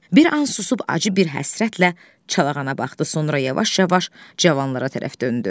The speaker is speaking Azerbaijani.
Bir an susub acı bir həsrətlə çalağana baxdı, sonra yavaş-yavaş cavanlara tərəf döndü.